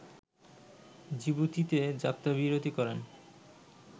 জিবুতিতে যাত্রাবিরতি করেন